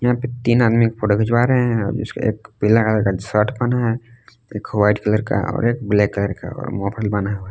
तीन आदमी फोटो खिंचवा रहे हैं और इसके एक पीला कलर का शर्ट पहना है एक व्हाइट कलर का और एक ब्लैक कलर का और मफलर बांधा हुआ है।